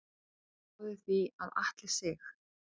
Ég spái því að Atli Sig.